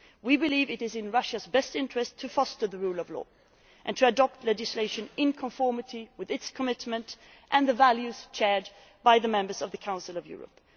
We believe it is in Russia's best interest to foster the rule of law and to adopt legislation in conformity with its commitment and the values shared by the members of the Council of Europe.